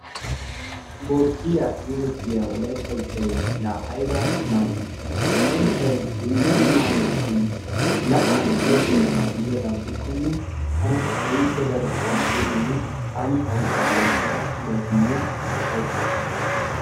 borddiyaa geetettiyaa wolaytta ushshay laa ayba mal'I! Ha ushshay dumma dumma ammonotun la"an uyyetenabaa gidikonne tana keehippe taani ha ushshaa loyttada uyayiisinne upayttayiiis.